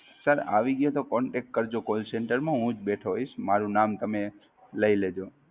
Sir આવી ગ્યું તો Contact કરજો Call center માં હુંજ બેઠો હોઈશ, મારુ નામ તમે લઈ લેજો.